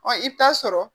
Ɔ i bɛ taa sɔrɔ